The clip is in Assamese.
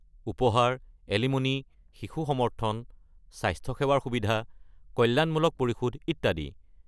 উপহাৰ, এলিম'নি, শিশু সমৰ্থন, স্বাস্থ্যসেৱাৰ সুবিধা, কল্যাণমূলক পৰিশোধ, ইত্যাদি।